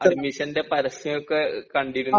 അഡ്മിഷന്റെ പരസ്യമൊക്കെ കണ്ടിരുന്നു